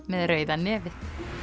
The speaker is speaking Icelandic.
með rauða nefið